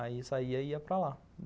Aí eu saía e ia para lá.